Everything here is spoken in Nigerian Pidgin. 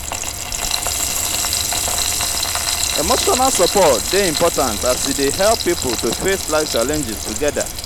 emotional support dey important as e dey help pipo to face life challenges together.